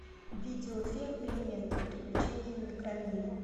видеофильм элементы приключения в микромире